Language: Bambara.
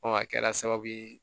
a kɛra sababu ye